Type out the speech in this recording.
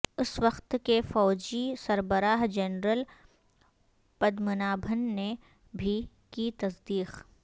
اس وقت کے فوجی سربراہ جنرل پدمنابھن نے بھی کی تصدیق